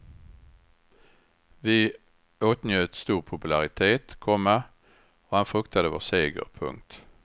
Vi åtnjöt stor popularitet, komma och han fruktade vår seger. punkt